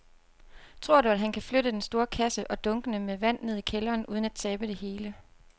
Tror du, at han kan flytte den store kasse og dunkene med vand ned i kælderen uden at tabe det hele?